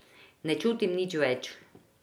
Ne čutim nič več.